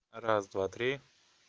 раз-два-три